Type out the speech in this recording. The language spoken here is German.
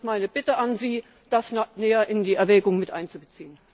Das ist meine Bitte an Sie, das näher in die Erwägungen mit einzubeziehen.